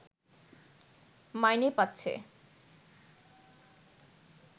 মাইনে পাচ্ছে